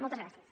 moltes gràcies